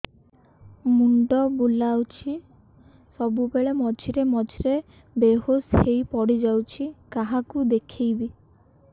ମୁଣ୍ଡ ବୁଲାଉଛି ସବୁବେଳେ ମଝିରେ ମଝିରେ ବେହୋସ ହେଇ ପଡିଯାଉଛି କାହାକୁ ଦେଖେଇବି